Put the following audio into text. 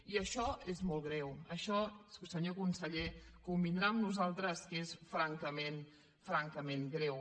i això és molt greu això senyor conseller convindrà amb nosaltres que és francament greu